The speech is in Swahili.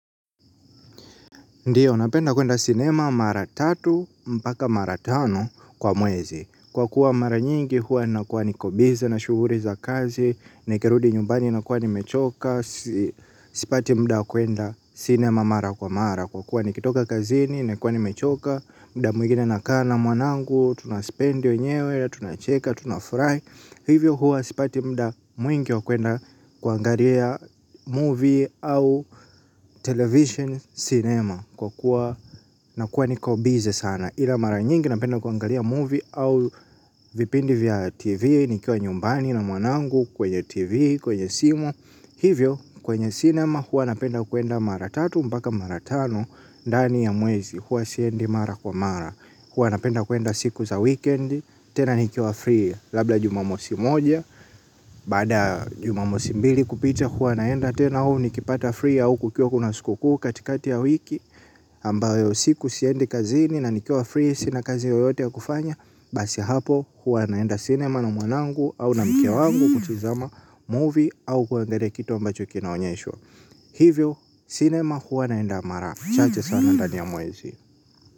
Ndiyo, napenda kuenda sinema mara tatu, mpaka mara tano kwa mwezi. Kwa kuwa mara nyingi, huwa nakuwa niko bizi na shughuli za kazi, nikirudi nyumbani, nakuwa nimechoka. Sipati muda wa kuenda sinema mara kwa mara. Kwa kuwa nikitoka kazini, nakuwa nimechoka, muda mwengine nakaa na mwanangu, tunaspendi wenyewe, tunacheka, tunafurahi. Hivyo huwa sipati muda mwingi wa kwenda kuangalia movie au television cinema. Kwa kuwa nakuwa niko bizi sana. Ila mara nyingi napenda kuangalia movie au vipindi vya tv. Nikiwa nyumbani na mwanangu kwenye tv kwenye simu. Hivyo kwenye cinema huwa napenda kuenda mara tatu mpaka mara tano ndani ya mwezi huwa siendi mara kwa mara. Huwa napenda kuenda siku za weekend. Tena nikiwa free labda jumamosi moja. Baada ya jumamosi mbili kupita huwa naenda. Tena au nikipata free au kukiwa kuna sikukuu katikati ya wiki ambayo siku siendi kazini na nikiwa free sina kazi yoyote ya kufanya. Basi hapo huwa naenda cinema na mwanangu au na mke wangu kutizama movie au kuangalia kitu ambacho kina onyeshwa. Hivyo cinema huwa naenda mara chache sana ndani ya mwezi.